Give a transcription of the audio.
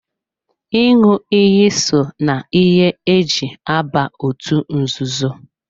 ịṅụ iyi so na ihe e ji aba otú nzuzo.